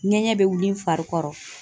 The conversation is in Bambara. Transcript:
Ŋɛɲɛ bɛ wili n fari kɔrɔ